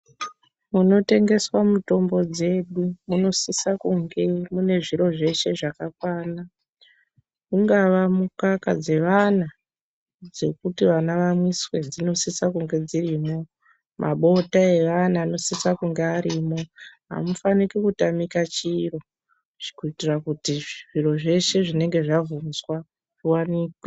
Munotengeswa mitombo dzedu munosiswa kunge muine zviro zveshe zvakakwana ungava mukaka dzevana dzekuti vana vamwiswe dzinosiswa dzirimwo, mabota evana anosiswa kunge arimo ,amufanike kutamika chiro kuitira kuti zviro zvese zvinenge zvabvunzwa zvivanikwe.